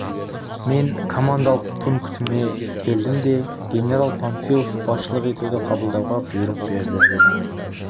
мен командалық пунктіме келдім де генерал панфилов басшылық етуді қабылдауға бұйрық берді дедім